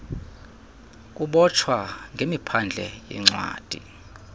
kubotshwa ngemiphandle yencwadi